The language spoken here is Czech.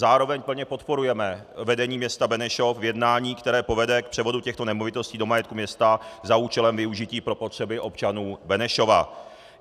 Zároveň plně podporujeme vedení města Benešov v jednání, které povede k převodu těchto nemovitostí do majetku města za účelem využití pro potřeby občanů Benešova.